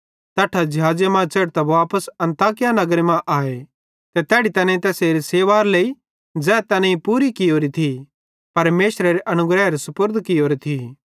तैट्ठां ज़िहाज़े मां च़ेढ़तां वापस अन्ताकिया नगरे मां आए ते तैड़ी तैनेईं तैस सेवारे लेइ ज़ै तैनेईं पूरी कियोरी थी परमेशरेरे अनुग्रहेरे सुपुर्द कियोरी थी